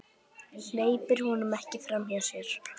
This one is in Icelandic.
Hleypir honum ekki framhjá sér.